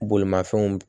Bolimafɛnw